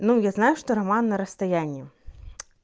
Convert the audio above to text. ну я знаю что роман на расстоянии